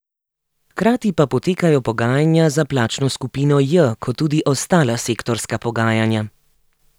Hkrati pa potekajo pogajanja za plačno skupino J, kot tudi ostala sektorska pogajanja.